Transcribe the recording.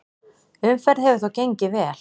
Umferð hefur þó gengið vel.